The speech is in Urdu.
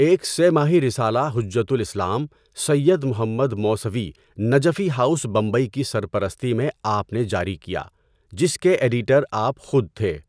ایک سہ ماہی رسالہ حُجَّۃُ الاسلام سید محمد موسَوِی نَجَفی ہاؤس بمبئی کی سرپرستی میں آپ نے جاری کیا جس کے ایڈیٹر آپ خود تھے۔